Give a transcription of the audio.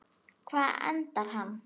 Hvar endar hann?